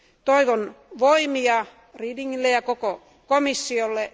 Toivon voimia Redingille ja koko komissiolle.